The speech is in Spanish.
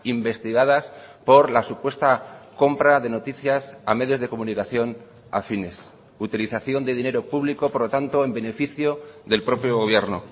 investigadas por la supuesta compra de noticias a medios de comunicación afines utilización de dinero público por lo tanto en beneficio del propio gobierno